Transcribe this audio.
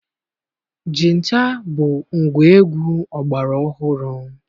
Jita bụ ngwaegwu ọgbara ọhụrụ.